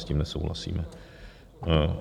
S tím nesouhlasíme.